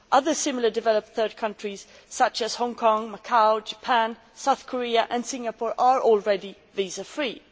Other similar developed third countries, such as Hong Kong, Macao, Japan, South Korea and Singapore, are already visa free.